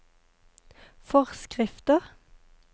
forskrifter